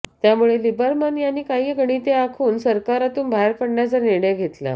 त्यामुळे लिबरमन यांनी काही गणिते आखून सरकारातून बाहेर पडण्याचा निर्णय घेतला